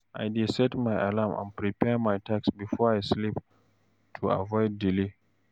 I dey set alarm and prepare my tasks before I sleep to avoid delay.